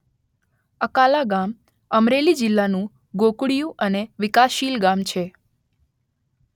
અકાલા ગામ અમરેલી જિલ્લાનું ગોકુળીયું અને વિકાસશીલ ગામ છે